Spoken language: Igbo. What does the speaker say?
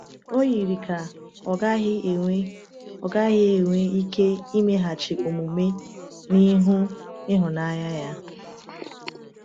O yiri ka ọ gaghị enwe ọ gaghị enwe ike imeghachi omume n’ihu ịhụnanya ya.